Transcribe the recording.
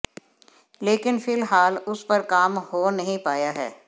लेकिन फिलहाल उस पर काम हो नहीं पाया है